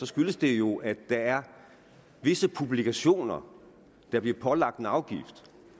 skyldes det jo at der er visse publikationer der bliver pålagt en afgift